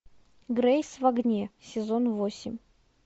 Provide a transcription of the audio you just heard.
грейс в огне сезон восемь